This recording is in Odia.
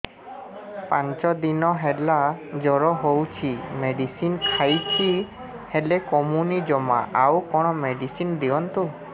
ପାଞ୍ଚ ଦିନ ହେଲା ଜର ହଉଛି ମେଡିସିନ ଖାଇଛି ହେଲେ କମୁନି ଜମା ଆଉ କଣ ମେଡ଼ିସିନ ଦିଅନ୍ତୁ